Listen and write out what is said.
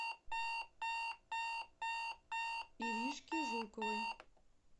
иришке жуковой